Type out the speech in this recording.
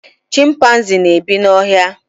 chimpaizin na ebi na ọhịa